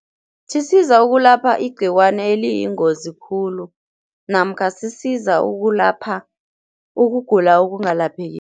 Sisiza ukulapha igcikwani eliyingozi khulu namkha sisiza ukulapha ukugula okungalaphekiko.